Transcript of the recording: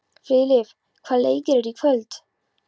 Filip, hvaða leikir eru í kvöld?